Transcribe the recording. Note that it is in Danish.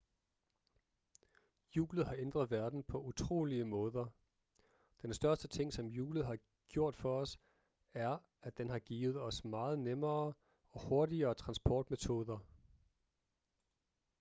hjulet har ændret verden på utrolige måder den største ting som hjulet har gjort for os er at den har givet os meget nemmere og hurtigere transportmetoder